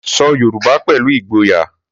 Sọ Yorùbá pẹ̀lú ìgboyà.